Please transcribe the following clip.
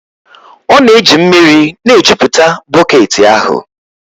ọ na-eji mmiri na-ejupụta bọket ahụ